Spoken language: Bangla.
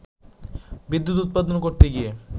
বিদ্যুৎ উৎপাদন করতে গিয়ে